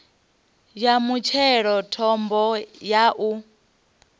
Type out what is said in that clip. ya mutshelo thambo ya u